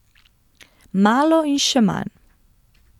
Malo in še manj.